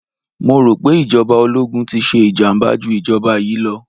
Mo rò pé ìjọba ológun ti ṣe ìjàmàbá jú ìjọba yìí lọ.